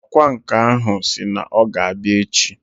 Ọkwa nkà ahụ si na ọ ga-abịa echi